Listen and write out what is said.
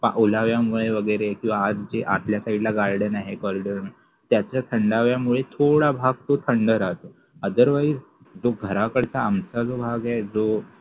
ओलाव्यामुळे वैगेरे किंवा आत जे आतल्या side ला जे garden आहे त्यामुळे त्याच्या थंडाव्यामुळे थोडं भाग तो थंड रहातो otherwise जो घराकडचा आमचा जो भाग आहे तो